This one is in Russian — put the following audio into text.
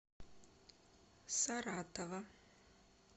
саратова